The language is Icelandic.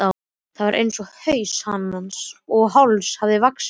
Það er einsog haus hans og háls hafi vaxið saman.